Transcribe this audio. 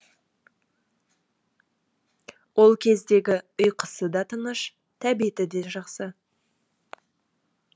ол кездегі ұйқысы да тыныш тәбеті де жақсы